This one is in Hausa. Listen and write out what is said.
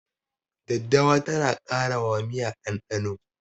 Daddawa tana ƙara wa miya ɗanɗano.